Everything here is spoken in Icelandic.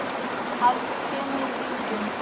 heldur kemur í bylgjum.